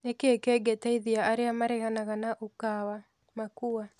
Nĩ kĩĩ kĩngĩteithia arĩa mareganaga na UKAWA 'makua'?